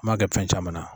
N m'a kɛ fɛn caman na